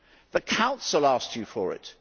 The Council asked you for it.